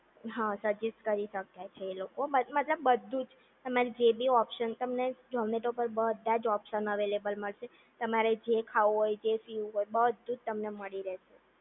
હા સજેસ્ટ કરી શકે છે એ લોકો તમને મતલબ બધું જ તમને જે બી ઓપ્શન તમને ઝૉમેતો પર બધા જ ઓપ્શન અવેલેબલ મળશે તમારે જે ખાવું હોય એ જે પીવું હોય બધું જ તમને મળી રહેશે